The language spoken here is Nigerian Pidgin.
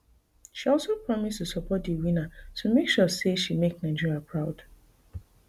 she also promise to support di winner to make sure say she make nigeria proud